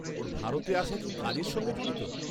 ওর ভারতে আসা কি কাজের সঙ্গে জড়িত?